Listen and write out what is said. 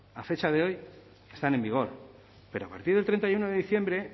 a fecha de hoy están en vigor pero a partir del treinta y uno de diciembre